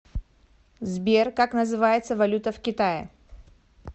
сбер как называется валюта в китае